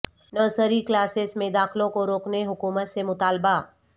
nursery classes میں داخلوں کو روکنے حکومت سے مطالبہ